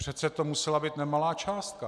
Přece to musela být nemalá částka.